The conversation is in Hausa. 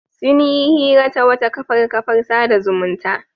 Sun yi hira ta wata kafar kafar sada zumunta.